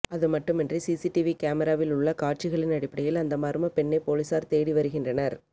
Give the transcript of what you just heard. அதுமட்டுமின்றி சிசிடிவி கேமராவில் உள்ள காட்சிகளின் அடிப்படையில் அந்த மர்ம பெண்ணை போலீசார் தேடி வருகின்றனர்